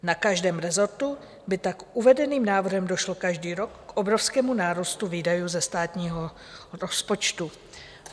Na každém rezortu by tak uvedeným návrhem došlo každý rok k obrovskému nárůstu výdajů ze státního rozpočtu.